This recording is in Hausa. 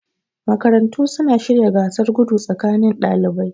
Makarantu suna shirya gasar gudu tsakanin dalibai